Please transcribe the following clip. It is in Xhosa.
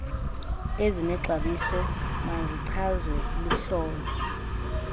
ezinexabiso mazichazwe luhlolo